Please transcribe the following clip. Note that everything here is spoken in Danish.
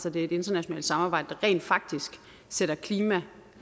at det er et internationalt samarbejde der rent faktisk sætter klima